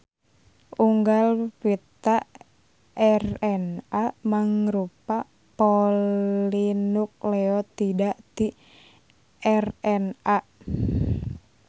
Unggal pita RNA mangrupa polinukleotida ti RNA.